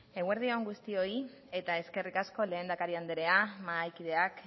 eguerdi on guztioi eta eskerrik asko lehendakari andrea mahaikideak